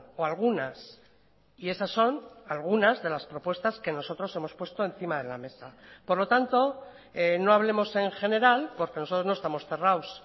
o algunas y esas son algunas de las propuestas que nosotros hemos puesto encima de la mesa por lo tanto no hablemos en general porque nosotros no estamos cerrados